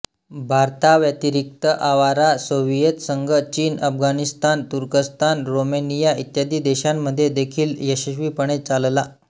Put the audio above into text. भारताव्यतिरिक्त Awaara Soviet संघ चीनअफगाणिस्तान तुर्कस्तान रोमेनिया इत्यादी देशांमध्ये देखील यशस्वीपणे चालला